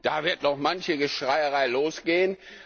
Da wird noch manche Schreierei losgehen.